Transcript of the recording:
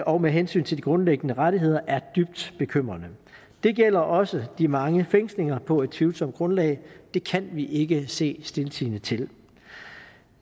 og med hensyn til de grundlæggende rettigheder er dybt bekymrende det gælder også de mange fængslinger på et tvivlsomt grundlag det kan vi ikke se stiltiende til